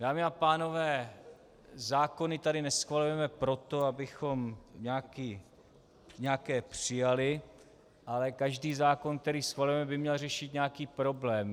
Dámy a pánové, zákony tady neschvalujeme proto, abychom nějaké přijali, ale každý zákon, který schvalujeme, by měl řešit nějaký problém.